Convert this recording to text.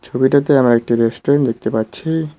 ছবিটিতে আমরা একটি রেস্টুরেন্ট দেখতে পাচ্ছি।